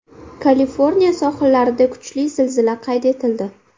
Kaliforniya sohillarida kuchli zilzila qayd etildi.